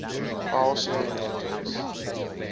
file sharing networks